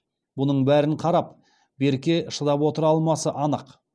бұның бәріне қарап берке шыдап отыра алмасы анық